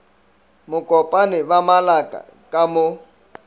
mokopane ba malaka ka mo